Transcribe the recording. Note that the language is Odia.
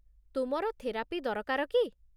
ତୁମର ଥେରାପି ଦରକାର କି?